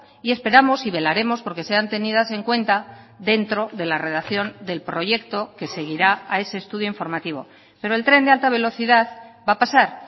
y esperamos y velaremos porque sean tenidas en cuenta dentro de la redacción del proyecto que seguirá a ese estudio informativo pero el tren de alta velocidad va a pasar